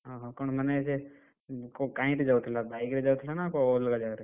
ଓହୋ କଣ ମାନେ ସେ, ଯାଉଥିଲା bike ରେ ଯାଉଥିଲା ନା ଅ କଉ ଅଲଗା ଯାଗାରେ?